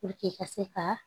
ka se ka